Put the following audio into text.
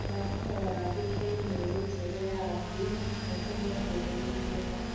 Nĩndakũhoya wandĩke i-mīrū Njerũ ya Abdi na ũtũme ndũmĩrĩri ĩno